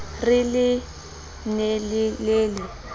re le ne le le